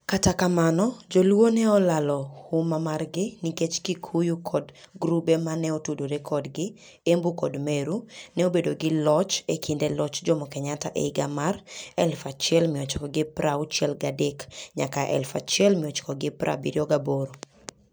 Kata kamano, Jo-luo ne olalo huma margi nikech Kikuyu kod grube ma ne otudore kodgi (Embu kod Meru) ne obedo gi loch e kinde loch Jomo Kenyatta e hig amar 1963 nyaka 1978.